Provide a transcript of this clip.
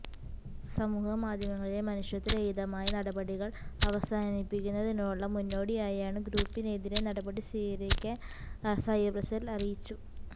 സമൂഹ മാധ്യമങ്ങളിലെ മനുഷ്യത്വ രഹിതമായ നടപടികള് അവസാനിപ്പിക്കുന്നതിനുള്ള മുന്നോടിയായാണ് ഗ്രൂപ്പിനെതിരെ നടപടി സ്വീകരിക്കാന് സൈബര് സെല് അറിയിച്ചു